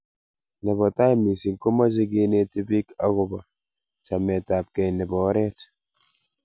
nebo tai missing, komeche keneti biik agoba chemetgei nebo oret